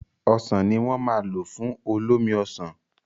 Ọsàn ní wọ́n ma lò fún olómi Ọsàn